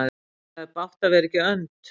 Það er bágt að vera ekki önd.